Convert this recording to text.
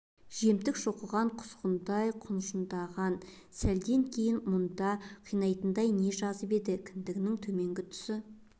жемтік шоқыған құзғындай құнжындаған сәлден кейін мұнша қинайтындай не жазып еді кіндігінің төменгі тұсы